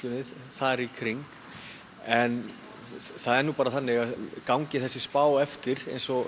þar í kring en það er bara þannig að gangi þessi spá eftir eins og